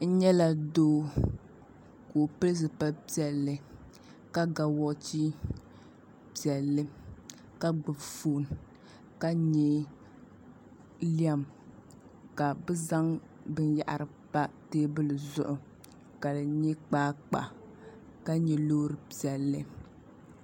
N nyɛla doo ka o pili zipili piɛlli ka ga woochi piɛlli ka gbubi foon ka nyɛ lɛm ka bi zaŋ binyahari pa teebuli zuɣu ka di nyɛ kpaakpa ka nyɛ loori piɛlli